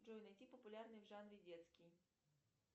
джой найти популярный в жанре детский